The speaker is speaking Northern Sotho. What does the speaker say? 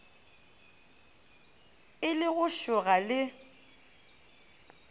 e le go šoga le